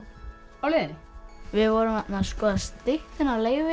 á leiðinni við vorum að skoða styttuna af Leifi